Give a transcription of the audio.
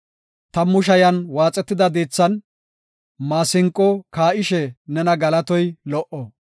Tammu shayan waaxetida diithan maasinqo kaa7ishe nena galatoy lo77o.